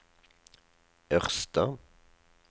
Ørsta